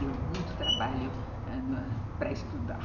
Deu muito trabalho ãh para estudar.